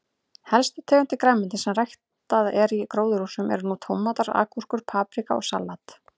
Helstu tegundir grænmetis sem ræktaðar eru í gróðurhúsum eru nú tómatar, agúrkur, paprika og salat.